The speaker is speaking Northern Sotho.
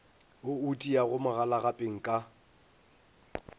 wo o tiago magalagapeng ka